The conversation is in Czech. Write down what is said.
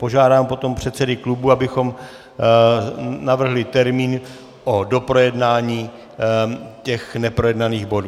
Požádám potom předsedy klubů, abychom navrhli termín o doprojednání těch neprojednaných bodů.